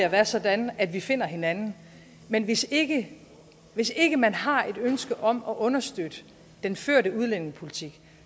at være sådan at vi finder hinanden men hvis ikke hvis ikke man har et ønske om at understøtte den førte udlændingepolitik